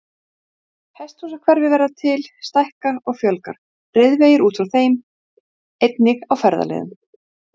Var þeim fagnað mjög af bæjarbúum við komuna og ógninni aflétt